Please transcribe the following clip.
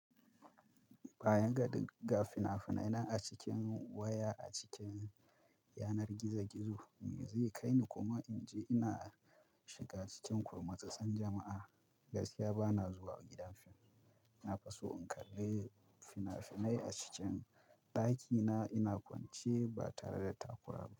Bayan ga dik ga fina-finai nan a cikin waya a cikin yanar gizo-gizo, me zai kai ni kuma in je ina shiga cikin kurmutsutsun jama'a? Gaskiya ba na zuwa gidan fim. Na fi so in kalle fina-finai a cikin ɗakina ina kwance ba tare da takura ba.